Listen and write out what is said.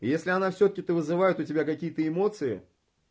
если она всё таки то вызывает у тебя какие-то эмоции